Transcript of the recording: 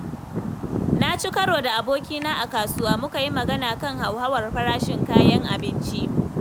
Na ci karo da abokina a kasuwa, muka yi magana kan hauhawar farashin kayan abinci.